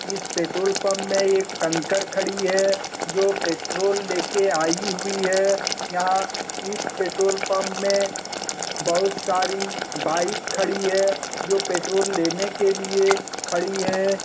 इस petrol pump में एक टैंकर खडी है जो पेट्रोल ले के आइ हुई है यहाँ इस पेट्रोल पंप में बहुत सारी बाइक खडी है जो पेट्रोल लेने के लिए खडी है ।